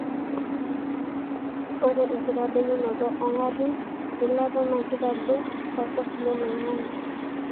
ore enkitadoyunoto ongarin eilata na keitadou olchafu loloingange.